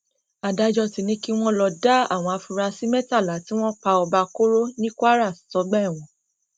adájọ ti ní kí wọn lọọ da àwọn afurasí mẹtàlá tí wọn pa ọba koro ní kwara sọgbà ẹwọn